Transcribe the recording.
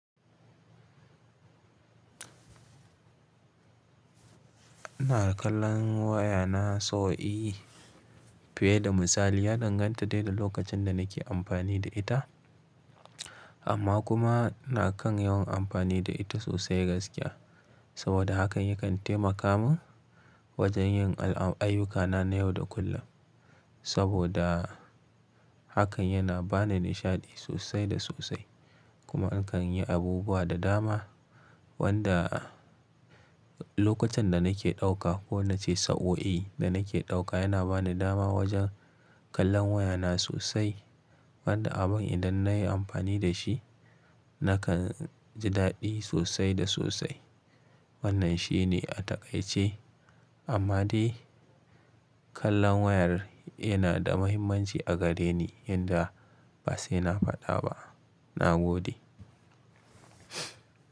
Ina kallon wayana sau i fiye da misali, ya danganta da da lokacin da nake amfani da ita. Amma kuma na kan yawan amfani da ita sosai gaskiya. Saboda hakan ya kan taimaka min wajen yin ayyukana na yau da kullum. Saboda hakan yana bani nishaɗi sosai da sosai kuma in kan yi abubuwa da dama wanda lokacin da nake ɗauka ko nace sa'o'i da nake ɗauka yana bani dama wajen kallon wayana sosai. Wanda abun idan na yi amfani da shi, nakan ji daɗi sosai da sosai. Wannan shine a takaice. Amma dai kallon wayar yana da muhimmanci a gare ni yanda ba sai na faɗa ba, na gode.